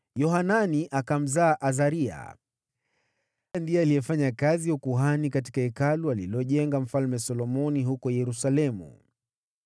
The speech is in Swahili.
Yohanani akamzaa Azaria (ndiye alifanya kazi ya ukuhani katika Hekalu alilojenga Mfalme Solomoni huko Yerusalemu),